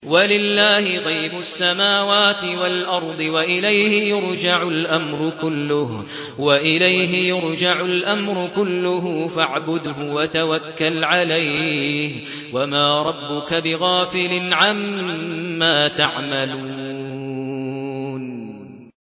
وَلِلَّهِ غَيْبُ السَّمَاوَاتِ وَالْأَرْضِ وَإِلَيْهِ يُرْجَعُ الْأَمْرُ كُلُّهُ فَاعْبُدْهُ وَتَوَكَّلْ عَلَيْهِ ۚ وَمَا رَبُّكَ بِغَافِلٍ عَمَّا تَعْمَلُونَ